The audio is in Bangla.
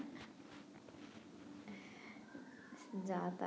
যা তা